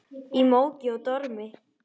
Í móki og dormi.